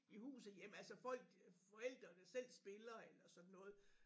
I huset hjem altså folk forældrene selv spiller eller sådan noget